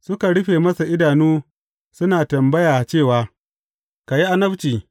Suka rufe masa idanu suna tambaya cewa, Ka yi annabci!